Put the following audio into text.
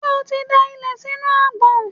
Ṣé o ti da ilẹ̀ sínú agbọ̀n?